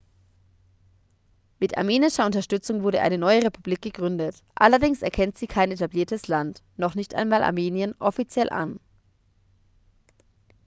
mit armenischer unterstützung wurde eine neue republik gegründet allerdings erkennt sie kein etabliertes land noch nicht einmal armenien offiziell an